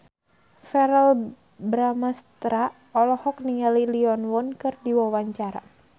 Verrell Bramastra olohok ningali Lee Yo Won keur diwawancara